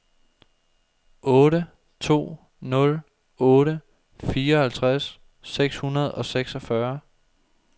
otte to nul otte fireoghalvtreds seks hundrede og seksogfyrre